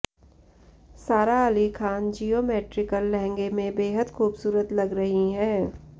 सारा अली खान जियोमेट्रिकल लहंगे में बेहद खूबसूरत लग रही हैं